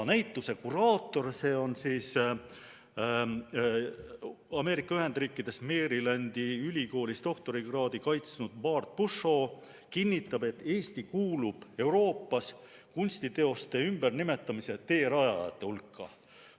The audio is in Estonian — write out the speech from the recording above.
Näituse kuraator, Ameerika Ühendriikides Marylandi ülikoolis doktorikraadi kaitsnud Bart Pushaw kinnitab, et Eesti kuulub Euroopas kunstiteoste ümbernimetamise teerajajate hulka.